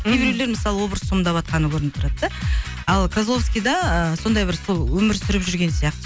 кейбіреулер мысалы образ сомдаватқаны көрініп тұрады да ал козловскида ы сондай бір сол өмір сүріп жүрген сияқты